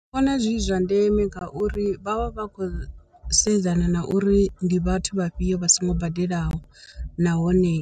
Ndi vhona zwi zwa ndeme ngauri vha vha vha khou sedzana na uri ndi vhathu vha fhio vha songo badelaho nahone